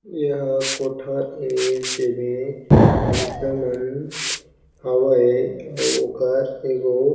एहा कोठा ए जेमे भइसा मन हावय अउ ओकर एगो--